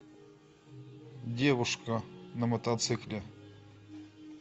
девушка на мотоцикле